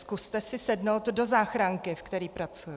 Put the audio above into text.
Zkuste si sednout do záchranky, ve které pracuji.